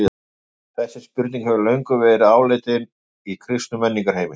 Þessi spurning hefur löngum verið áleitin í kristnum menningarheimi.